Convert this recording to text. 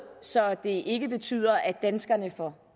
så det ikke betyder at danskerne får